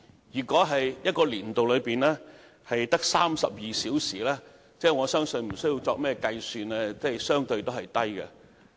如果在一個年度內的播出時數只得32小時，則不用計算也知道數字相對偏低。